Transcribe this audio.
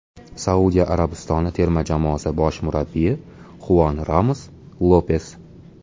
Saudiya Arabistoni terma jamoasi bosh murabbiyi Xuan Ramon Lopes.